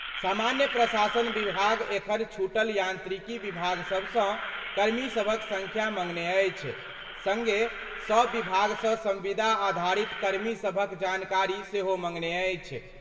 सामान्य प्रशासन विभाग एखन छूटल यांत्रिकी विभाग सभ सं कर्मी सभक संख्या मंगने अछि, संगे सभ विभाग सं संविदा आधारित कर्मी सभक जानकारी सेहो मंगने अछि।